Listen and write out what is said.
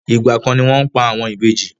Igba kan ni wọn pa àwọn ìbejì.